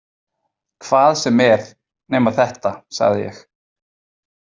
Hvað sem er nema þetta, sagði ég.